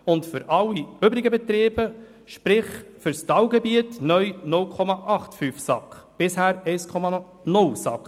Für alle übrigen Betriebe, sprich: fürs Talgebiet, gälte neu 0,85 SAK, anstatt bisher 1,0 SAK.